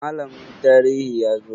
Malamin tarihi ya zo?